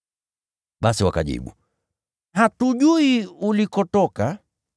Basi wakajibu, “Hatujui ulikotoka.”